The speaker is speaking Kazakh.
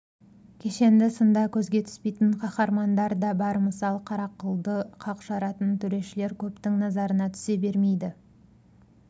кешенді сында көзге түспейтін қаһармандар да бар мысалы қарақылды қақ жаратын төрешілер көптің назарына түсе бермейді